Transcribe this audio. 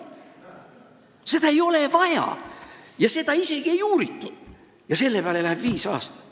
Seda ei olnud vaja, aga selle peale läks ikka viis aastat.